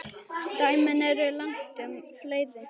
Dæmin eru langtum fleiri.